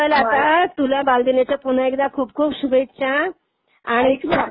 चल, चल आता, तुला बालदिनाच्या पुन्हा एकदा खूप खूप शुभेच्छा.